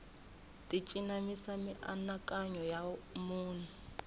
ti cinamisa mianakanyo ya munhu